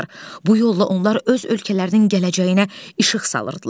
Bu yolla onlar öz ölkələrinin gələcəyinə işıq salırdılar.